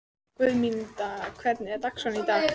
Guðmundína, hvernig er dagskráin í dag?